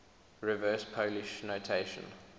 reverse polish notation